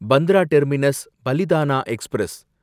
Bandra terminus Palitana express